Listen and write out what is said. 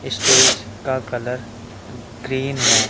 Stage का colour green है।